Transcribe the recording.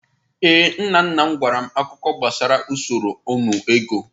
Ee, nna nna m gwara m akụkọ gbasara usoro nnu ego.